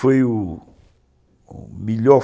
Foi o melhor